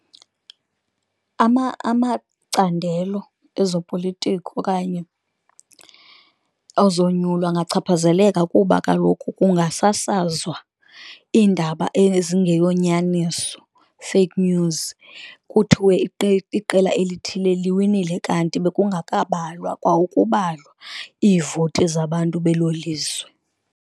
Amacandelo ezopolitiko okanye ozonyulwa angachaphazeleka, kuba kaloku kungasasazwa iindaba ezingeyonyaniso, fake news kuthiwe iqela elithile liwinile, kanti bekungekabalwa kwa ukubalwa iivoti zabantu belo lizwe.